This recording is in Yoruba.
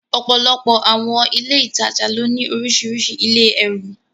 Ọ̀pọ̀lọpọ̀ àwọn ilé ìtajà ló ní orísìírísìí ilé ẹrù.